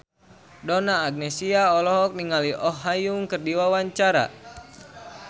Donna Agnesia olohok ningali Oh Ha Young keur diwawancara